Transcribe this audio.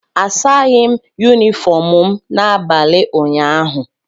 Asaghị m Yunifọm m n'abalị ụnyaahụ